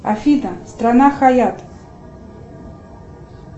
афина страна хаятт